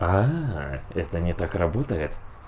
это не так работает